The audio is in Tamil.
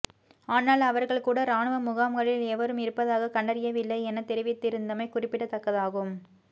ஆனால் அவர்கள் கூட இராணுவ முகாம்களில் எவரும் இருப்பதாக கண்டறியவில்லை என தெரிவித்திருந்தமை குறிப்பிடத்தக்கதாகும்